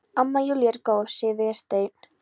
Amma Júlía er góð, segir Vésteinn.